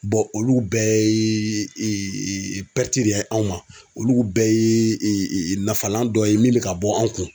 olu bɛɛ ye de ye anw ma olu bɛɛ ye nafalan dɔ ye min bɛ ka bɔ an kun.